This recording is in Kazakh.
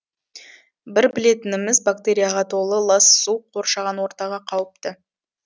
бір білетініміз бактерияға толы лас су қоршаған ортаға қауіпті